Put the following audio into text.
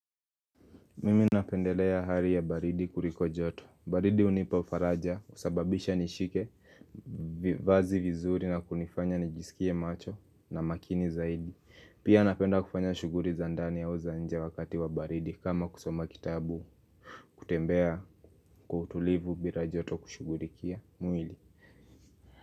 Mimi napendelea hari ya baridi kuriko joto. Baridi hunipa faraja husababisha nishike vazi vizuri na kunifanya nijisikie macho na makini zaidi. Pia napenda kufanya shuguri za ndani au za nje wakati wa baridi. Kama kusoma kitabu, kutembea kwa utulivu bila joto kushugurikia mwili.